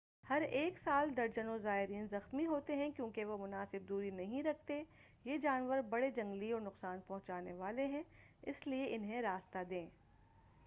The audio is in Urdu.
ہر ایک سال درجنوں زائرین زخمی ہوتے ہیں کیونکہ وہ مناسب دوری نہیں رکھتے یہ جانور بڑے جنگلی اور نقصان پہنچانے والے ہیں اس لئے انہیں راستہ دیں